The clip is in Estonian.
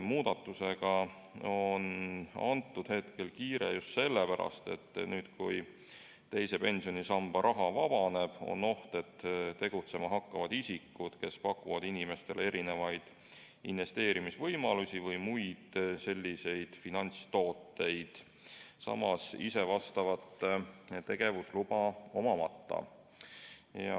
Muudatusega on praegu kiire just sellepärast, et kui teise pensionisamba raha vabaneb, on oht, et tegutsema hakkavad isikud, kes pakuvad inimestele mingeid investeerimisvõimalusi või muid selliseid finantstooteid selleks tegevusluba omamata.